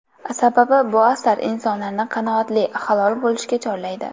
Sababi bu asar insonlarni qanoatli, halol bo‘lishga chorlaydi.